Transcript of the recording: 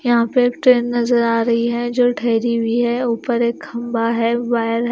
यहां पे एक ट्रेन नजर आ रही है जो ठहरी हुई है ऊपर एक खंभा है।